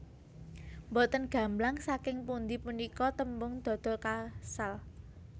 Mbotèn gamblang saking pundhi punika tèmbung dodo kaasal